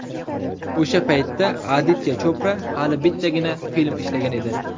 O‘sha paytda Aditya Chopra hali bittagina film ishlagan edi.